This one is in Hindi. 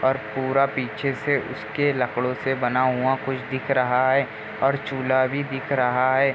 और पूरा पीछे से उसके लकड़ों से बना हुआ कुछ दिख रहा है और चूल्हा भी दिख रहा है ।